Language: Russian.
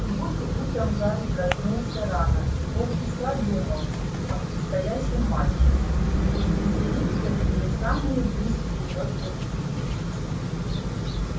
в субботу утром гарри проснулся рано и полчаса думал о предстоящем матче у слизеринцев были самые быстрые метлы в мире